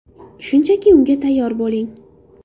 Shunchaki unga tayyor bo‘ling.